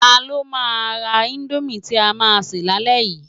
Tá ló má rá Indómi ti á má sè lálè yi?